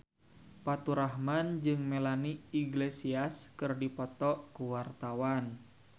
Faturrahman jeung Melanie Iglesias keur dipoto ku wartawan